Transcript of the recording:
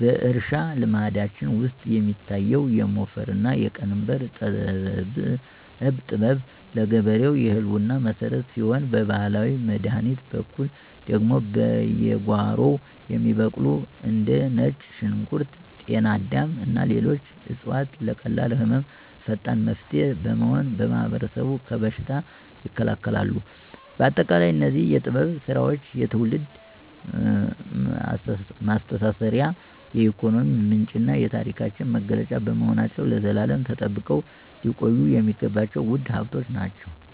በእርሻ ልማዳችን ውስጥ የሚታየው የሞፈርና ቀንበር ጥበብ ለገበሬው የህልውና መሰረት ሲሆን፣ በባህላዊ መድኃኒት በኩል ደግሞ በየጓሮው የሚበቅሉ እንደ ነጭ ሽንኩርት፣ ጤና አዳም እና ሌሎች ዕፅዋት ለቀላል ህመሞች ፈጣን መፍትሄ በመሆን ማህበረሰቡን ከበሽታ ይከላከላሉ። ባጠቃላይ እነዚህ የጥበብ ሥራዎች የትውልድ መሳሰሪያ፣ የኢኮኖሚ ምንጭና የታሪካችን መገለጫ በመሆናቸው ለዘላለም ተጠብቀው ሊቆዩ የሚገባቸው ውድ ሀብቶቻችን ናቸው።